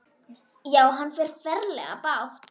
Já, hann á ferlega bágt.